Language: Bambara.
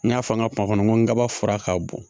N y'a fɔ an ka kuma n ko n ka fura ka bon